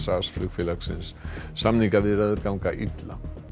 flugfélagsins samningaviðræður ganga illa